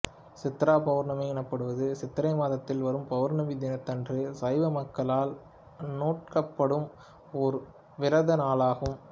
சித்திரா பௌர்ணமி எனப்படுவது சித்திரை மாதத்தில் வரும் பௌர்ணமி தினத்தன்று சைவ மக்களால் அநுட்டிக்கப்படும் ஒரு விரத நாளாகும்